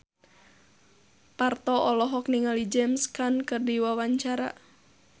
Parto olohok ningali James Caan keur diwawancara